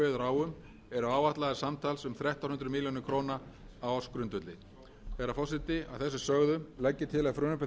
á um eru áætlaðar samtals um þrettán hundruð milljóna króna á ársgrundvelli virðulegi forseti að þessu sögðu legg ég til að frumvarpi þessu verði vísað til